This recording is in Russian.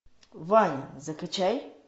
вайн закачай